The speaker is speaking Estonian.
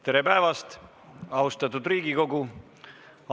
Tere päevast, austatud Riigikogu!